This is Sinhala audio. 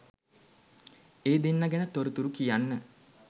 ඒ දෙන්න ගැන තොරතුරු කියන්න